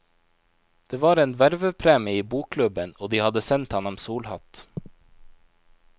Det var en vervepremie i bokklubben, og de hadde sendt ham en solhatt.